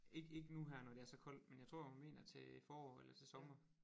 Ikke ikke nu her når det er så koldt men jeg tror hun mener til forår eller til sommer